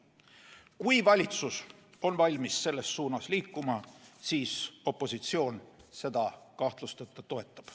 Kui valitsus on valmis selles suunas liikuma, siis opositsioon seda kahtlusteta toetab.